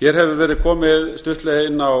hér hefur verið komið stuttlega inn á